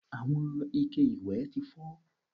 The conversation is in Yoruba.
Àwọn ike ìwẹ̀ ti fọ́